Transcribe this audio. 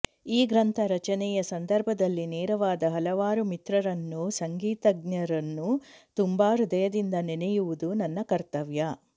ಈ ಗ್ರಂಥ ರಚನೆಯ ಸಂದರ್ಭದಲ್ಲಿ ನೆರವಾದ ಹಲವಾರು ಮಿತ್ರರನ್ನೂ ಸಂಗೀತಜ್ಞರನ್ನೂ ತುಂಬ ಹೃದಯದಿಂದ ನೆನೆಯುವುದು ನನ್ನ ಕರ್ತವ್ಯ